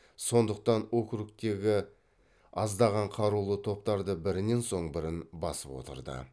сондықтан округтердегі аздаған қарулы топтарды бірінен соң бірін басып отырды